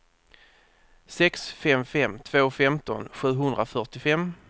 sex fem fem två femton sjuhundrafyrtiofem